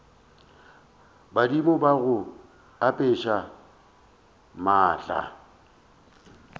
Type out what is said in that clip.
badimo ba go apeša maatla